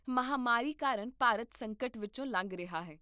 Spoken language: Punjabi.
ਮਹਾਂਮਾਰੀ ਕਾਰਨ ਭਾਰਤ ਸੰਕਟ ਵਿੱਚੋਂ ਲੰਘ ਰਿਹਾ ਹੈ